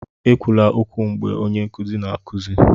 ekwula okwu mgbe onye nkuzi na-akụzi!